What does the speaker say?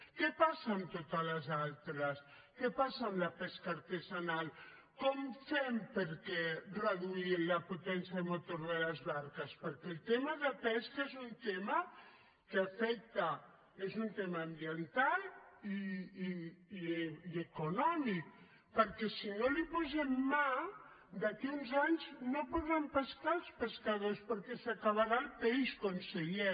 què passa amb totes les altres què passa amb la pesca artesanal com ho fem per reduir la potència i el motor de les barques perquè el tema de pesca és un tema ambiental i econòmic perquè si no hi posem mà d’aquí a uns anys no podran pescar els pescadors perquè s’acabarà el peix conseller